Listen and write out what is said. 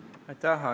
Andres Sutt, palun!